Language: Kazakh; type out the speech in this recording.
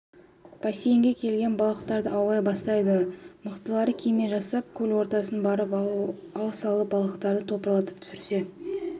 бассейнге келген балықтарды аулай бастайды мықтылары кеме жасап көл ортасына барып ау салып балықтарды топырлатып түсірсе